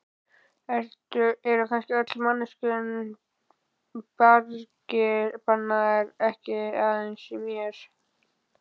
Eru kannski öllum manneskjum bjargir bannaðar, ekki aðeins mér?